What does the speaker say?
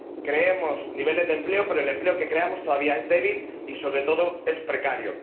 creamos niveles de empleo, pero el empleo que creamos todavía es débil y, sobre todo, es precario.